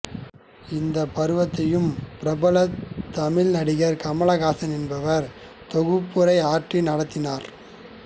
இந்த பருவத்தையும் பிரபல தமிழ் நடிகர் கமல் ஹாசன் என்பவர் தொகுப்புரை ஆற்றி நடத்தினார்